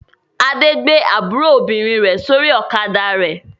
Adé gbé àbúrò obìnrin rẹ̀ sórí ọ̀kadà rẹ̀.